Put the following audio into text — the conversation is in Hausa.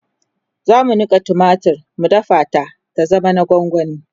zamu Nika tumatir mu dafa ta ta zama na gwangwani